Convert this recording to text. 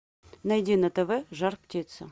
найди на тв жар птица